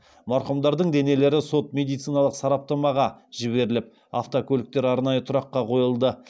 марқұмдардың денелері сот медициналық сараптамаға жіберіліп автокөліктер арнайы тұраққа қойылды